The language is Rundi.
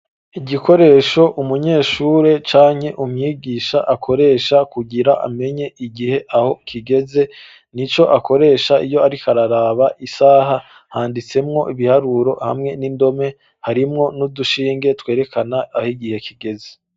Igikoresho umunyeshure canke umwigisha akoresha kugira amenye igihe aho kigeze, ni co akoresha iyo ari kararaba isaha, handitsemwo ibiharuro hamwe n'indome harimwo n'udushinge twerekana aho igihe kigeze.